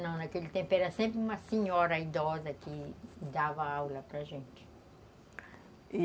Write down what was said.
Não, naquele tempo era sempre uma senhora idosa que dava aula para gente.